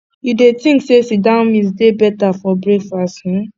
you dey think say sit down meal dey beta for breakfast um